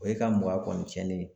O ye ka mɔgɔya kɔni cɛnnen ye